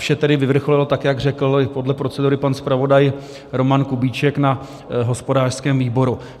Vše tedy vyvrcholilo tak, jak řekl podle procedury pan zpravodaj Roman Kubíček, na hospodářském výboru.